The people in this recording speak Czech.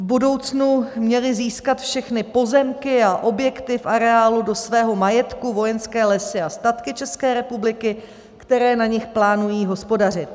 V budoucnu měly získat všechny pozemky a objekty v areálu do svého majetku Vojenské lesy a statky České republiky, které na nich plánují hospodařit.